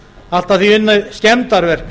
allt að því unnið skemmdarverk